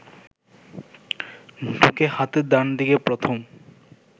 ঢুকে হাতের ডান দিকে প্রথম